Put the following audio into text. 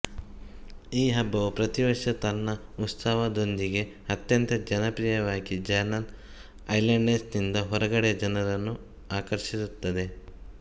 ಈ ಹಬ್ಬವು ಪ್ರತಿವರ್ಷ ತನ್ನ ಉತ್ಸವದೊಂದಿಗೆ ಅತ್ಯಂತ ಜನಪ್ರಿಯವಾಗಿಚಾನಲ್ ಐಲ್ಯಾಂಡ್ಸ್ನಿಂದ ಹೊರಗಡೆಯ ಜನರನ್ನು ಆಕರ್ಷಿಸುತ್ತದೆ